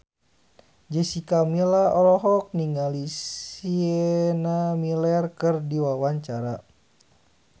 Jessica Milla olohok ningali Sienna Miller keur diwawancara